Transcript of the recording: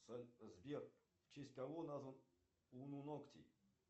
сбер в честь кого назван уноноктий